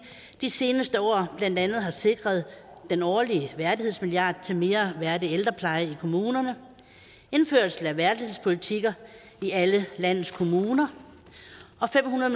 de seneste år blandt andet har sikret den årlige værdighedsmilliard til mere værdig ældrepleje i kommunerne indførelse af værdighedspolitikker i alle landets kommuner og fem hundrede